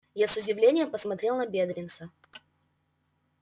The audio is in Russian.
я с удивлением посмотрел на бедренца